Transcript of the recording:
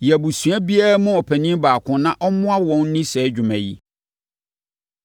Yi abusua biara mu ɔpanin baako na ɔmmoa wɔn nni saa dwuma yi.